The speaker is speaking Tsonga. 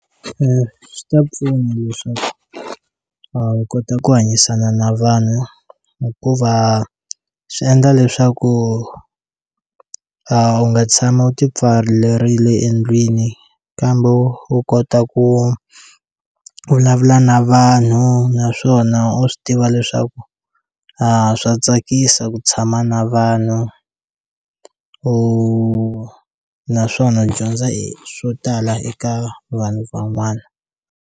Swi ta pfuna leswaku a wu kota ku hanyisana na vanhu hikuva swi endla leswaku a u nga tshami u ti pfalerile endlwini kambe wu wu kota ku ku vulavula na vanhu naswona u swi tiva leswaku a swa tsakisa ku tshama na vanhu u naswona dyondza e swo tala eka vanhu van'wana.